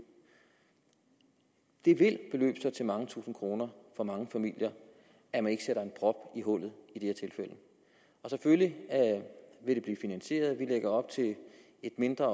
det vil sig til mange tusinde kroner for mange familier at man ikke sætter en prop i hullet i de her tilfælde selvfølgelig vil det blive finansieret vi lægger op til et mindre